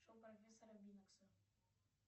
шоу профессора бинокса